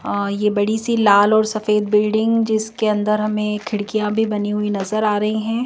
ये बड़ी सी लाल और सफेद बिल्डिंग जिसके अंदर हमें खिड़कियां भी बनी हुई नजर आ रही है।